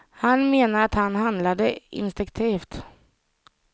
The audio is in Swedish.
Han menar att han handlade instinktivt.